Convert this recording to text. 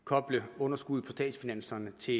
koble underskuddet på statsfinanserne til